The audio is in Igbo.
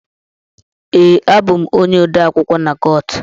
Ee, abụ m onye odeakwụkwọ na court.